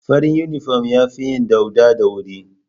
Farin inifom ya fi yin dauɗa da wuri